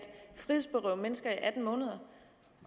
frihedsberøve mennesker i atten måneder